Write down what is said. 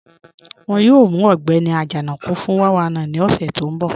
Wọ́n yóò mù Ọgbẹ́ni Ajanaku fún 419 ni ọṣẹ̀ tó nbọ̀.